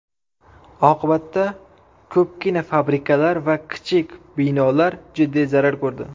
Oqibatda, ko‘pgina fabrikalar va kichik binolar jiddiy zarar ko‘rdi.